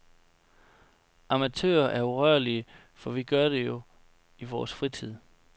Amatører er urørlige, for vi gør det jo i vores fritid.